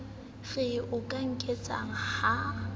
re o ka nketsang ha